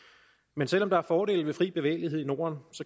men selv om der er fordele ved fri bevægelighed i norden